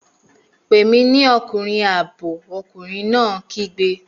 Pè mí ní ọkùnrin ààbò! ọkùnrin náà kígbe